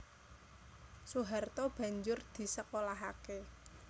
Soeharto banjur disekolahaké